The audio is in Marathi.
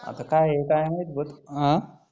आता काय आहे काय माहीत अं